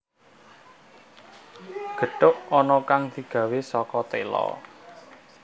Gethuk ana kang digawé saka téla